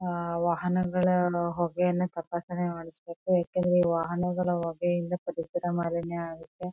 ವಾಹನಗಳ ಹೊಗೆಯಾನ ತಪಾಸಣೆ ಮಾಡ್ಸಬೇಕು. ಯಾಕಂದ್ರೆ ವಾಹನಗಳ ಹೊಗೆಯಿಂದ ಪರಿಸರ ಮಾಲಿನ್ಯ ಆಗುತ್ತೆ.